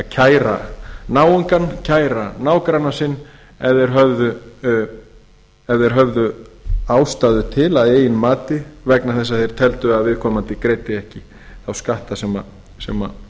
kæra náungann kæra nágranna sinn ef þeir höfðu ástæðu til að eigin mati vegna þess að þeir teldu að viðkomandi greiddi ekki þá skatta sem